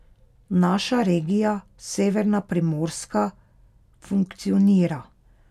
Naša regija, Severna Primorska, funkcionira.